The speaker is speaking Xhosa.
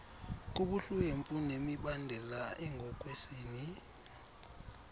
kubuhlwempu nemibandela engokwesini